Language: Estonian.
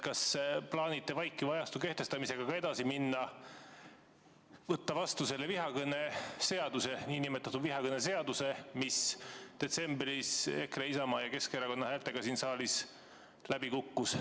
Kas te plaanite vaikiva ajastu kehtestamisega ka edasi minna, võtta vastu selle nn vihakõneseaduse, mis detsembris EKRE, Isamaa ja Keskerakonna häältega siin saalis läbi kukkus?